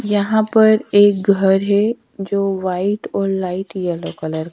यहां पर एक घर है जो व्हाईट और लाइट येलो कलर --